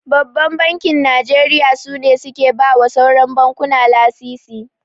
Babban Bankin Najeriya su ne suke bawa sauran bankuna lasisi.